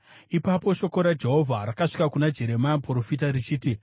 Ipapo shoko raJehovha rakasvika kuna Jeremia muprofita, richiti,